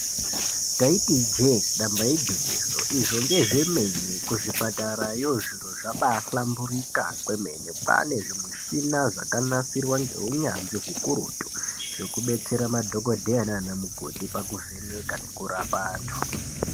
Taiti ijee damba igwinyiso kuzvipatarayo zviro zvabahlamburuka kwemene. Kwane zvimushina zvakanasirwa neuyanzvi ukurutu zvekudetsera madhokodheya nana mukoti pakuvheneke nekurapa antu.